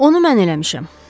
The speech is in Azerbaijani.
Onu mən eləmişəm.